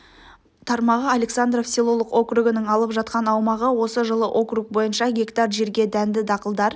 тармағы александров селолық округінің алып жатқан аумағы осы жылы округ бойынша гектар жерге дәнді дақылдар